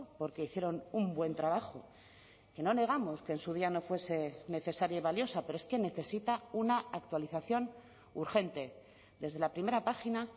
porque hicieron un buen trabajo que no negamos que en su día no fuese necesaria y valiosa pero es que necesita una actualización urgente desde la primera página